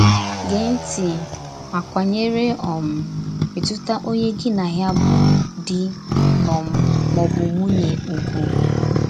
Gèè ntị mà kwànyèrè um mètùtà onye gí na ya bụ dì um mà ọ̀ bụ nwùnyè ùgwù.